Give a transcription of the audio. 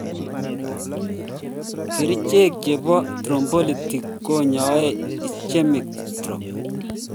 Kerichek chebo thrombolytic konyoe ischemic strokes